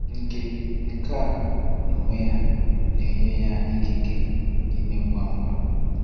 Nke Nke a n’onwe ya, na-enye ya ikike ime ngwa ngwa.